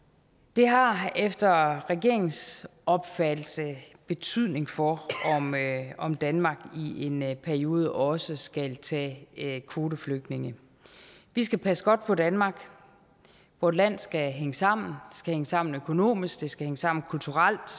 det har efter regeringens opfattelse betydning for om danmark i en periode også skal tage kvoteflygtninge vi skal passe godt på danmark vort land skal hænge sammen skal hænge sammen økonomisk det skal hænge sammen kulturelt